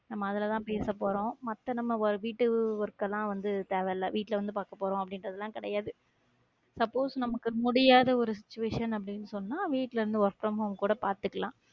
நம்ம அதுலதான் பேசபோறோம் மத்த நம்ம வீட்டு work எல்லாம் வந்து தேவையில்ல வீட்டுல வந்து பார்க்க போறோம் அப்படின்றதெல்லாம் கிடையாது suppose நமக்கு முடியாத ஒரு situation அப்படின்னு சொன்னா வீட்டுல இருந்து work from home கூட பார்த்துக்கலாம்